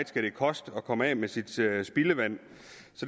skal koste at komme af med sit spildevand